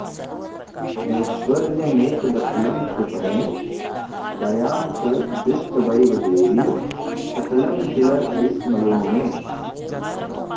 ऐश्वर्यमेतदखिलं कृपणे दयां च दृष्ट्वैव देवि सकलं किल विस्मयो मे